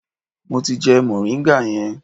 Mo ti jẹ moringa yẹn.